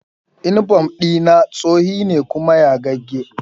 Inifom ɗi na tsohe ne kuma yagagge